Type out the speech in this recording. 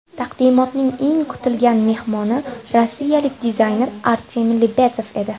Taqdimotning eng kutilgan mehmoni Rossiyalik dizayner Artemiy Lebedev edi.